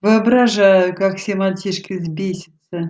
воображаю как все мальчишки взбесятся